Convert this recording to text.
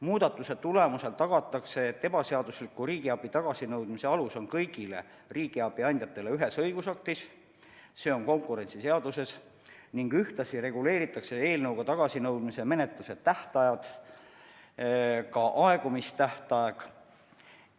Muudatuse tulemusel tagatakse, et ebaseadusliku riigiabi tagasinõudmise alus on kõigile riigiabi andjatele ühes õigusaktis, s.o konkurentsiseaduses, ning ühtlasi reguleeritakse eelnõuga tagasinõudmise menetluse tähtaega, ka aegumistähtaega.